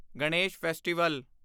Ganesh festival